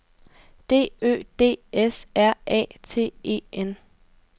D Ø D S R A T E N